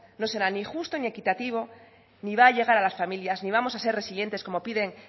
no será ni justo ni equitativo ni va a llegar a las familias ni vamos a ser resilientes como piden